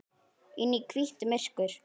Inn í hvítt myrkur.